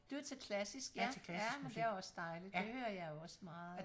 Du er til klassisk ja ja men det er også dejligt det hører jeg også meget